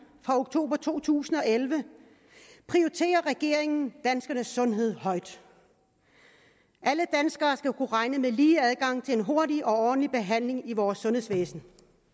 fra oktober to tusind og elleve prioriterer regeringen danskernes sundhed højt alle danskere skal kunne regne med lige adgang til en hurtig og ordentlig behandling i vores sundhedsvæsen